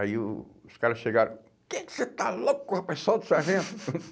Aí o o os caras chegaram, quem é que você está louco, rapaz, solta o sargento.